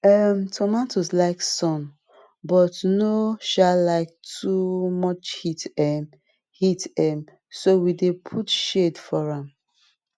um tomato like sun but no um like too much heat um heat um so we dey put shade for am